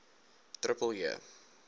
j j j